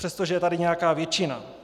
Přestože je tady nějaká většina.